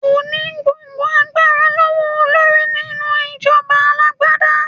Kò ní gbogbo agbára lọ́wọ́ olórí ní nínú ìjọba alágbádá.